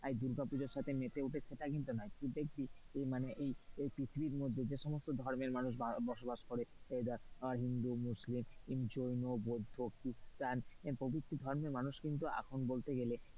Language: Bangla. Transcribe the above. দুর্গা পুজোর সঙ্গে মেতে উঠেছে তা কিন্তু নয় কিন্তু এই পৃথিবীর মধ্যে যে সমস্ত ধর্মের মানুষ বসবাস করে এই ধর হিন্দু, মুসলিম, জৈন, বৌদ্ধ, খ্রিস্টান প্রভৃতি ধর্মের মানুষ কিন্তু এখন বলতে গেলে,